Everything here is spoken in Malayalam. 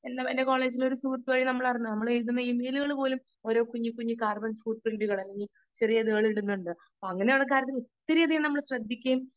സ്പീക്കർ 2 എന്റെ കോളേജിലെ ഒരു സുഹൃത്തു വഴി ഞാൻ അറിഞ്ഞു . നമ്മൾ എഴുതുന്ന ഇമെയിൽ പോലും ഓരോ കുഞ്ഞി കുഞ്ഞി അങ്ങനെ ഒരു കാര്യത്തിൽ ഒത്തിരി നമ്മൾ ശ്രദ്ധിക്കണം